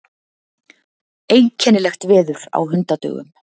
Einkennilegt veður á hundadögum.